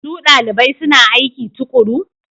Su dalibai suna aiki tuƙuru?